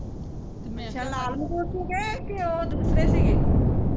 ਲਾਲ ਮਰੂਦ ਸੀਗੇ ਕਿ ਉਹ ਦੂਸਰੇ ਸੀਗੇ